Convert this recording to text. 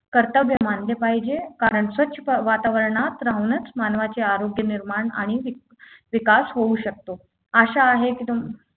कर्तव्य मानले पाहिजे कारण स्वच्छ प वातावरणात राहूनच मानवाचे आरोग्य निर्माण आणि विक विकास होऊ शकतो आशा आहे की